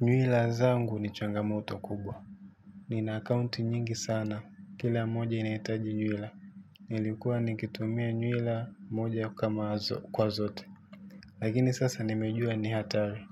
Nywila zangu ni changamoto kubwa. Nina akaunti nyingi sana. Kila moja inahitaji nywila. Nilikuwa nikitumia nywila moja kwa zote. Lakini sasa nimejua ni hatari.